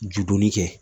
Judonni kɛ